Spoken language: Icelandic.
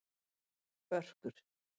Börkur